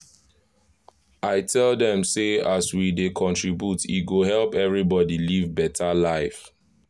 i tell dem say as we dey contribute e go help everybody live beta life.